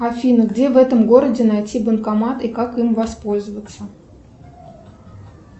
афина где в этом городе найти банкомат и как им воспользоваться